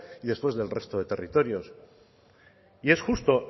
y después del resto de territorios y es justo